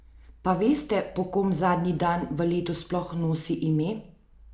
Pa veste, po kom zadnji dan v letu sploh nosi ime?